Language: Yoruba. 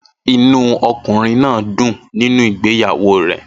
Inú ọkùnrin náà dùn nínú ìgbéyàwó rẹ̀